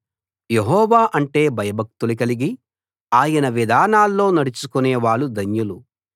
యెహోవా అంటే భయభక్తులు కలిగి ఆయన విధానాల్లో నడుచుకునే వాళ్ళు ధన్యులు